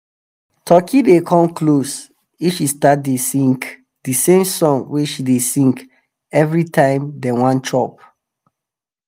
turkey dey come close if she start to dey sing di same song wey she dey sing every time dem wan chop.